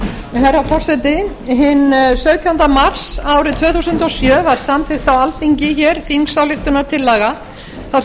herra forseti hinn sautjánda mars árið tvö þúsund og sjö var samþykkt á alþingi hér þingsályktunartillaga þar sem